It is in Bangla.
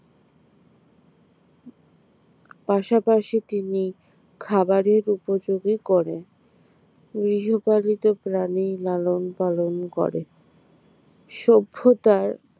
পাশাপাশি তিনি খাবারের উপযোগী করে গৃহপালিত প্রাণী লালন পালন করে সভ্যতার